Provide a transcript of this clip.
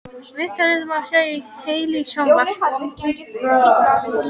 Viðtalið má sjá í heild í sjónvarp